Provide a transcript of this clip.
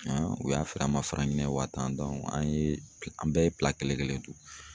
u y'a feere an ma wa tan an ye an bɛɛ ye kelen kelen dun.